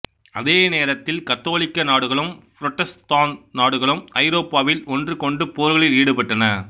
அதே நேரத்தில் கத்தோலிக்க நாடுகளும் புரட்டஸ்தாந்து நாடுகளும் ஐரோப்பாவில் ஒன்றுக்கொன்று போர்களில் ஈடுபட்டன